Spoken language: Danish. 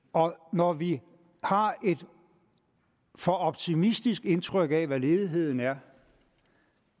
når vi har et for optimistisk indtryk af hvad ledigheden er